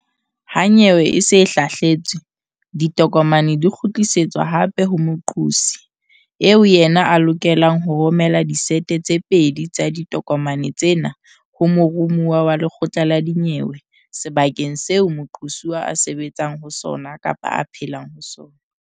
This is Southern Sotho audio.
Ha nyewe e se e hlahletswe, ditokomane di kgutlisetswa hape ho moqosi, eo yena a lokelang ho romela disete tse pedi tsa ditokomane tsena ho moromuwa wa lekgotla la dinyewe sebakeng seo moqosuwa a sebetsang ho sona kapa a phelang ho sona.